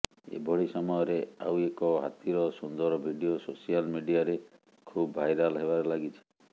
ଏଭଳି ସମୟରେ ଆଉ ଏକ ହାତୀର ସୁନ୍ଦର ଭିଡିଓ ସୋସିଆଲ ମିଡିଆରେ ଖୁବ ଭାଇରାଲ ହେବାରେ ଲାଗିଛି